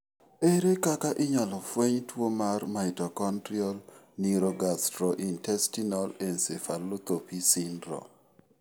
Ere kaka inyalo fweny tuwo mar mitochondrial neurogastrointestinal encephalopathy syndrome?